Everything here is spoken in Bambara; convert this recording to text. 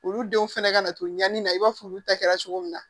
Olu denw fɛnɛ ka na to ɲani na i b'a fɔ olu ta kɛra cogo min na